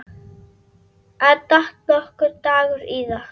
En datt nokkuð Dagur íða?